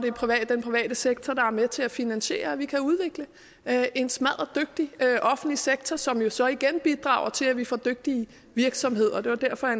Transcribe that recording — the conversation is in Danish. den private sektor der er med til at finansiere at vi kan udvikle en smadderdygtig offentlig sektor som jo så igen bidrager til at vi får dygtige virksomheder det var derfor at